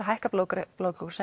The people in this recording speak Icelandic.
hækkar blóðsykurinn